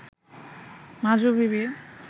মাজু বিবি